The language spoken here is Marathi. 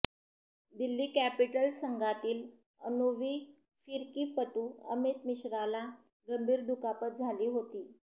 दिल्ली कॅपिटल्स संघातील अनुवी फिरकीपटू अमित मिश्राला गंभीर दुखापत झाली होती